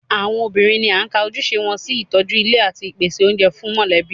Àwọn obìnrin ni a ka ojúṣe wọn sí ìtọ́jú ilé àti ìpèsè oúnjẹ fún mọ̀lẹ́bí